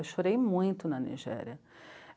Eu chorei muito na Nigéria.